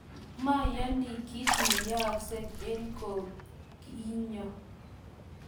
mayoni kiit ne yooksei eng oki nyo